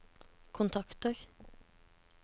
kontakter